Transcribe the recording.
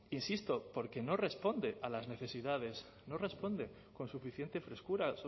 insisto porque no responde a las necesidades no responde con suficiente frescura